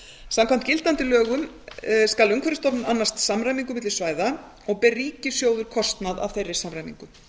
samkvæmt gildandi lögum skal umhverfisstofnun annast samræmingu milli svæða og ber ríkissjóður kostnað af þeirri samræmingu